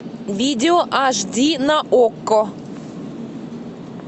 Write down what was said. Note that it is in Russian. видео аш ди на окко